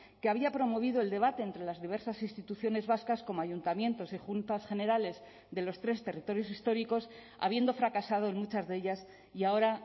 que había promovido el debate entre las diversas instituciones vascas como ayuntamientos y juntas generales de los tres territorios históricos habiendo fracasado en muchas de ellas y ahora